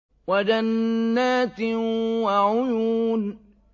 وَجَنَّاتٍ وَعُيُونٍ